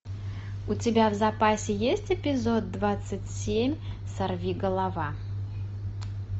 у тебя в запасе есть эпизод двадцать семь сорвиголова